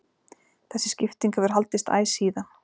Þessi skipting hefur haldist æ síðan.